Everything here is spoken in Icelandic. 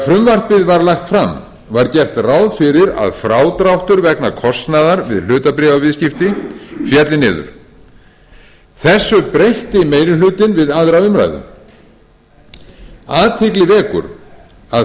frumvarpið var lagt fram var gert ráð fyrir að frádráttur vegna kostnaðar við hlutabréfaviðskipti félli niður þessu breytti meiri hlutinn við aðra umræðu athygli vekur að farið